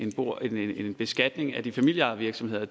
jo ikke er en beskatning af de familieejede virksomheder